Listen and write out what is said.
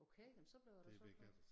Okay jamen så blev jeg da så klog